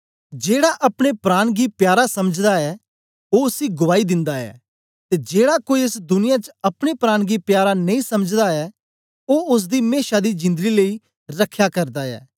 जेड़ा अपने प्राण गी प्यारा समझदा ऐ ओ उसी गुआई दिंदा ऐ ते जेड़ा कोई एस दुनिया च अपने प्राण गी प्यारा नेई समझदा ऐ ओ ओसदी मेशा दी जिंदड़ी लेई रखया करदा ऐ